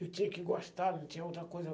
Eu tinha que gostar, não tinha outra coisa.